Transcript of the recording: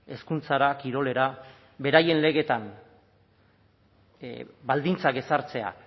hezkuntzara kirolera beraien legetan baldintzak ezartzea